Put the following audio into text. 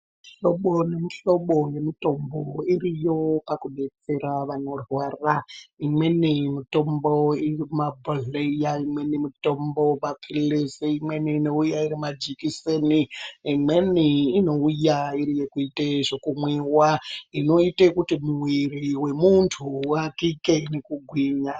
Mihlobo nemihlobo yemitombo iriyo pakubetsera vanorwara. Imweni mitombo iri mumabhodhleya, imweni mitombo maphilizi, imweni inouya iri majikiseni , imweni inouya iri yekuite zvekumwiwa, inoite ekuti muwiri wemuntu uwakike nekugwinya.